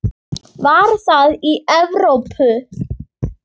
Var það í Evrópu?